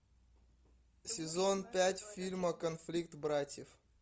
сезон пять фильма конфликт братьев